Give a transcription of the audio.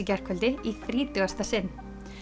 gærkvöldi í þrítugasta sinn